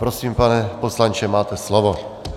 Prosím, pane poslanče, máte slovo.